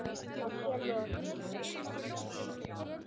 Guði sé lof!